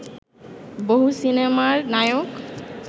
বহু সিনেমার নায়ক